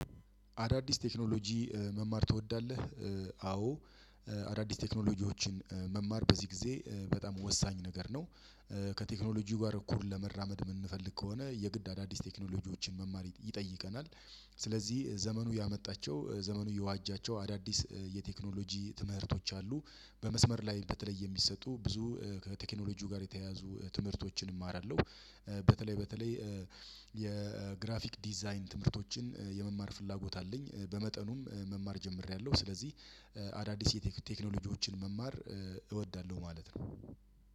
አዳዲስ ቴክኖሎጂ መማር ትወዳለህ? አዎ አዳዲስ ቴክኖሎጂዎችን መማር በዚህ ጊዜ በጣም ወሳኝ ነገር ነው። አዳዲስ ቴክኖሎጂ መማር ትወዳለህ? አዎ አዳዲስ ቴክኖሎጂዎችን መማር በዚህ ጊዜ በጣም ወሳኝ ነገር ነው። ከቴክኖሎጂው ጋር እኩል ለመራመድ የምንፈልግ ከሆነ የግድ አዳዲስ ቴክኖሎጂዎችን መማር ይጠይቀናል። ስለዚህ ዘመኑ ያመጣቸው ዘመኑ የዋጃቸው አዳዲስ የቴክኖሎጂ ትምህርቶች አሉ። በመስመር ላይ በተለየ የሚሰጡ ብዙ ከቴክኖሎጂው ጋር የተያያዙ ትምህርቶችን እማራለሁ። በተለይ በተለይ የግራፊክ ዲዛይን ትምህርቶችን የመማር ፍላጎት አለኝ። በመጠኑም መማር ጀምሬያለሁ ስለዚህ